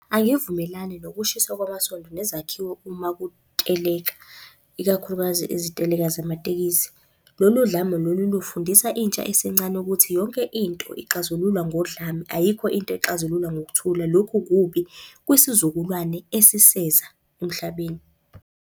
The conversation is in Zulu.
Angivumelani nokushiswa kwamasondo nezakhiwo uma kuteleka, ikakhulukazi iziteleka zamatekisi. Lolu dlame lolu lufundisa intsha esencane ukuthi yonke into ixazululwa ngodlame, ayikho into ixazululwa ngokuthula. Lokhu kubi kwisizukulwane esiseza emhlabeni.